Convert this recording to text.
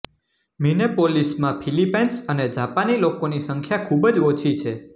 મિનેપોલિસમાં Philippines અને જાપાની લોકોની સંખ્યા ખૂબ જ ઓછી છે